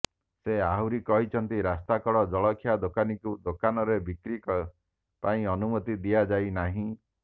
ସେ ଆହୁରି କହିଛନ୍ତି ରାସ୍ତାକଡ଼ ଜଳଖିଆ ଦୋକାନୀକୁ ଦୋକାନରେ ବିକ୍ରି ପାଇଁ ଅନୁମତି ଦିଆଯାଇନାହିଁ